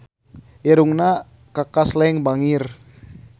Irungna Kaka Slank bangir